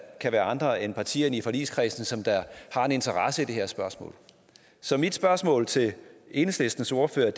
kan være andre end partierne i forligskredsen som har en interesse i det her spørgsmål så mit spørgsmål til enhedslistens ordfører